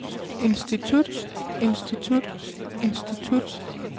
institut institut institut